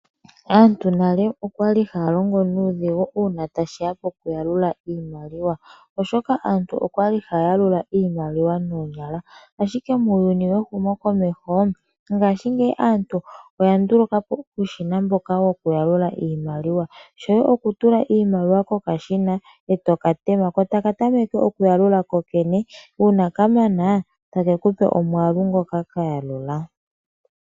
Aantu monale oyali haya longo nuudhigu ngele tashi ya pokuyalula iimaliwa oshoka aantu oyali haya yalula iimaliwa noonyala. Muuyuni wehumokomeho mongashingeyi aantu oyanduluka po uushina woku yalula iimaliwa. Shoye okutula owala iimaliwa kokashina e toka tema ko otaka tameke okuyalula, uuna kamana ko otake kupe omwaalu ngoka kayalula.